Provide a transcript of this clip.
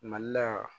Mali la